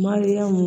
Mariyamu